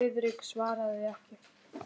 Friðrik svaraði ekki.